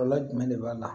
Kɔlɔlɔ jumɛn de b'a la